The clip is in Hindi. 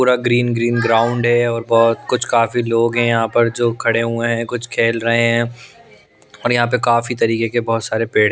पूरा ग्रीन ग्रीन ग्राउंड हैं और बहुत कुछ काफी लोग हैं यहाँ पर जो खड़े हुए हैं कुछ खेल रहे हैं और यहाँ पर काफी तरीके के बहुत सारे पेड़ --